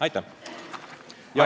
Aitäh!